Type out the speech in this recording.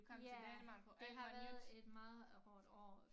Ja det har været et meget hårdt år